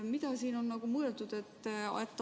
Mida sellega on mõeldud?